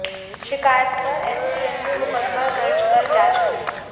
शिकायत पर एसटीएफ ने मुकदमा दर्ज कर जांच की